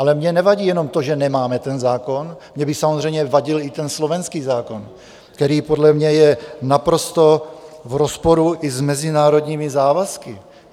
Ale mně nevadí jenom to, že nemáme ten zákon, mně by samozřejmě vadil i ten slovenský zákon, který podle mě je naprosto v rozporu i s mezinárodními závazky.